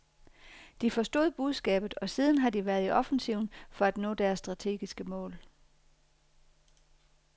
De forstod budskabet, og siden har de været i offensiven for at nå deres strategiske mål.